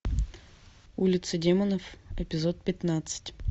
улица демонов эпизод пятнадцать